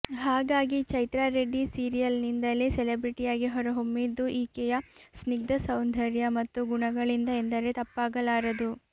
ಹಾಗಾಗಿ ಚೈತ್ರಾ ರೆಡ್ಡಿ ಸೀರಿಯಲ್ನಿಂದಲೇ ಸೆಲೆಬ್ರೆಟಿಯಾಗಿ ಹೊರಹೊಮ್ಮಿದ್ದು ಈಕೆಯ ಸ್ನಿಗ್ಧ ಸೌಂದರ್ಯ ಮತ್ತು ಗುಣಗಳಿಂದ ಎಂದರೆ ತಪ್ಪಾಗಲಾರದು